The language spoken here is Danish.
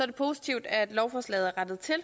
det positivt at lovforslaget er rettet til og